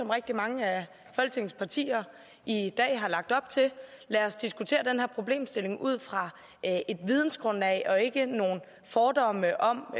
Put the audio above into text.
rigtig mange af folketingets partier i dag har lagt op til lad os diskutere den her problemstilling ud fra et vidensgrundlag og ikke nogen fordomme om